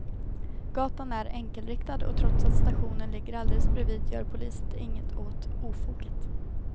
Gatan är enkelriktad och trots att stationen ligger alldeles bredvid gör polisen inget åt ofoget.